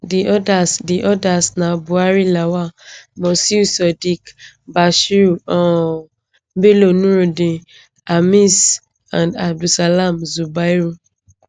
di odas di odas na buhari lawal mosiu sadiq bashir um bello nurudeen khamis and abdulsalam zubairu